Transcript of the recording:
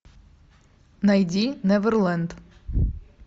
найди неверленд